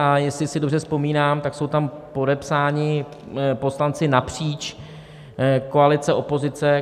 A jestli si dobře vzpomínám, tak jsou tam podepsáni poslanci napříč, koalice - opozice.